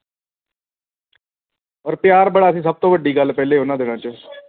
ਔਰ ਪਿਆਰ ਬੜਾ ਸੀ ਸਭ ਤੋਂ ਵੱਡੀ ਗੱਲ ਪਹਿਲੀ ਉਨ੍ਹਾਂ ਦਿਨਾਂ ਦੇ ਵਿਚ